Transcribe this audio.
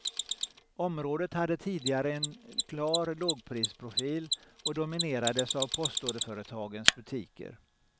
Området hade tidigare en klar lågprisprofil och dominerades av postorderföretagens butiker.